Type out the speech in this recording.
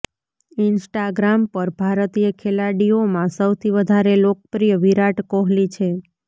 Instagram પર ભારતીય ખેલાડીઓમાં સૌથી વધારે લોકપ્રિય વિરાટ કોહલી છે